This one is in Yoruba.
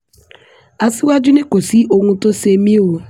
aṣíwájú ni kò sí ohun tó ṣe mí o